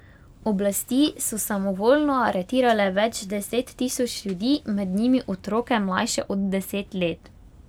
Oblasti so samovoljno aretirale več deset tisoč ljudi, med njimi otroke mlajše od deset let.